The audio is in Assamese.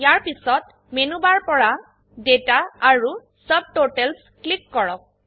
ইয়াৰ পিছত মেনু বাৰ পৰা ডেটা আৰু ছাবটোটেলছ ক্লিক কৰক